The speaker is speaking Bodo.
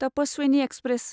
तपस्वीनि एक्सप्रेस